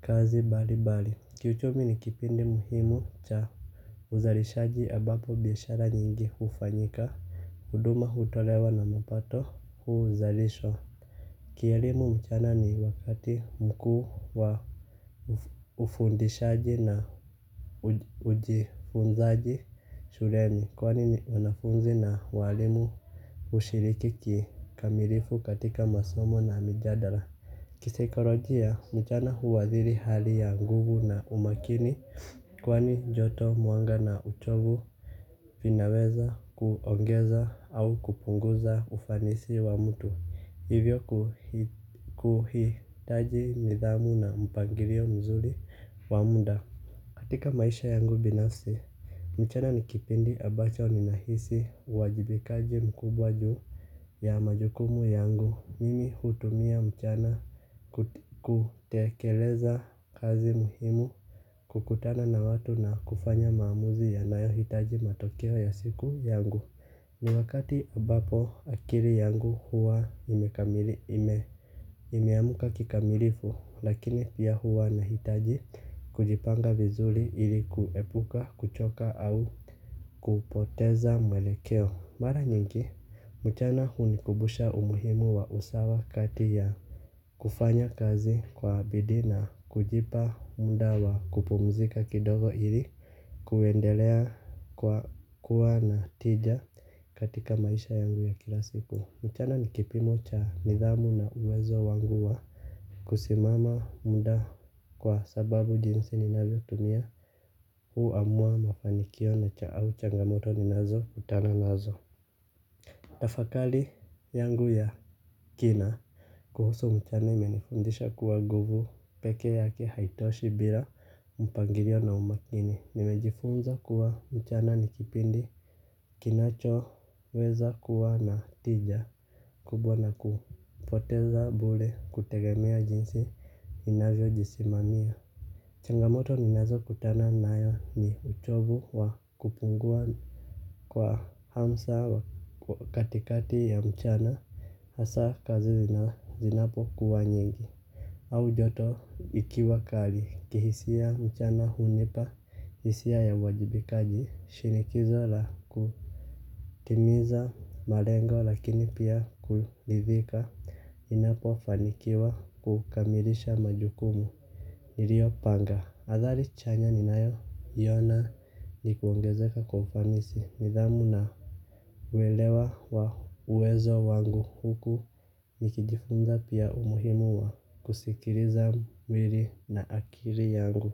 kazi mbali mbali, kiuchumi ni kipindi muhimu cha uzalishaji ambapo biashara nyingi hufanyika, huduma hutolewa na mapato huu zalishwa. Kielimu mchana ni wakati mkuu wa ufundishaji na ujifunzaji shuleni kwani ni wanafunzi na walimu hushiriki kikamilifu katika masomo na mijadara. Kisaikolojia mchana huathiri hali ya nguvu na umakini kwani joto mwanga na uchovu vinaweza kuongeza au kupunguza ufanisi wa mtu. Hivyo kuhitaji nidhamu na mpangilio mzuri wa muda. Katika maisha yangu binafsi, mchana nikipindi ambacho ninahisi uwajibikaji mkubwa juu ya majukumu yangu, mimi hutumia mchana kutekeleza kazi muhimu. Kukutana na watu na kufanya maamuzi ya nayo hitaji matokeo ya siku yangu. Ni wakati ambapo akili yangu huwa imekamili ime imeamka kikamilifu lakini pia huwa na hitaji kujipanga vizuri ilikuepuka kuchoka au kupoteza mwelekeo. Mara nyingi, mchana hunikumbusha umuhimu wa usawa kati ya kufanya kazi kwa bidii na kujipa mudawa kupumzika kidogo ili kuendelea kwa kuwa na tija. Katika maisha yangu ya kila siku mchana ni kipimocha nidhamu na uwezo wanguwa kusimama muda kwa sababu jinsi ninavyo tumia hu amua mafanikio na cha au changamoto ninazo kutana nazo kutafakali yangu ya kina kuhusu mchana imenifundisha kuwa nguvu pekee yake haitoshi bila mpangilio na umakini. Nimejifunza kuwa mchana nikipindi kinacho weza kuwa na tija kubwa na kupoteza bure kutegemea jinsi inavyo jisimania. Changamoto ninazo kutana nayo ni uchovu wa kupungua kwa hamsa katikati ya mchana. Hasa kazi zinapo kuwa nyingi au joto likiwa kali kihisia mchana hunipa hisia ya uwajibikaji shinikizo la kutimiza malengo lakini pia kuridhika ninapo fanikiwa kukamilisha majukumu. Nilio panga athari chanya ni nayo iyona ni kuongezeka kwa ufanisi nidhamu na uelewa wa uwezo wangu huku nikijifunza pia umuhimu wa kusikiiza mwili na akili yangu.